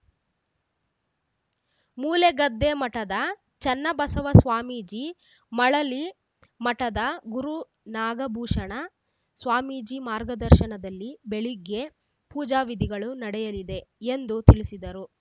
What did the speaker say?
ಮೂಲೆಗದ್ದೆ ಮಠದ ಚನ್ನಬಸವ ಸ್ವಾಮೀಜಿ ಮಳಲಿ ಮಠದ ಗುರುನಾಗಭೂಷಣ ಸ್ವಾಮೀಜಿ ಮಾರ್ಗದರ್ಶನದಲ್ಲಿ ಬೆಳಗ್ಗೆ ಪೂಜಾ ವಿಧಿಗಳು ನಡೆಯಲಿದೆ ಎಂದು ತಿಳಿಸಿದರು